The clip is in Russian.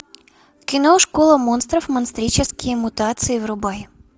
кино школа монстров монстрические мутации врубай